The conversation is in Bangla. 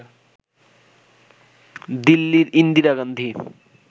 দিল্লির ইন্দিরা গান্ধি